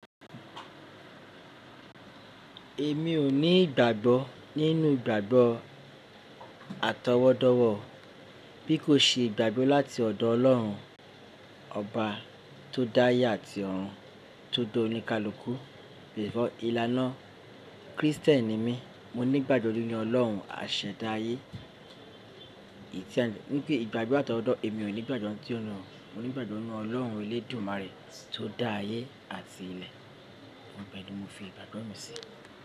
Èmi ò ní ìgbàgbọ́ nínú ìgbàgbọ́ àtọwọ́dọ̀wọ̀ bí kò ṣe ìgbàgbọ́ láti ọ̀dọ̀ Ọlọ́run ọba tó dá ayé àti òrun tó da oníkálùkù. Before, ìlànà Kristẹni mi, mo ní ìgbàgbọ́ nínu Ọlọ́run àṣẹ̀dá ayé. Ní pé ìgbàgbọ́ àtọwọ́dọ̀, èmi ò ní ìgbàgbọ́ tí ọ̀nà, mo ní ìgbàgbọ́ nínú Ọlọ́run elédùmarè tó dá ayé àti ilẹ̀. Ibe ni mo fi ìgbàgbọ́ mi sí.